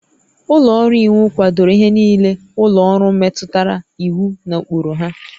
Ụlọ ọrụ iwu kwadoro ihe niile ụlọ ọrụ metụtara iwu na ụkpụrụ ha